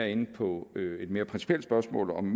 inde på et mere principielt spørgsmål om